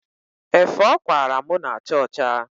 Efe ọ kwaara mụ na-acha ọcha.